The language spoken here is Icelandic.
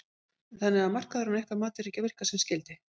Þannig að markaðurinn að ykkar mati er ekki að virka sem skyldi?